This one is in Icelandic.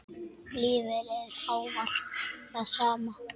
Lífið er ávallt það sama.